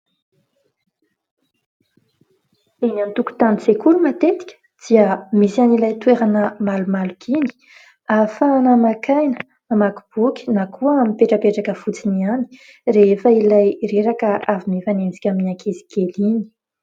Eny an-tokontanin-tsekoly matetika dia misy an'ilay toerana malomaloka iny ahafahana maka aina mamaky boky na koa mipetrapetraka fotsiny ihany rehefa ilay reraka avy mifanenjika amin'ny ankizikely iny.